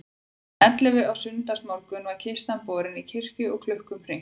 Klukkan ellefu á sunnudagsmorgun var kistan borin í kirkju og klukkum hringt.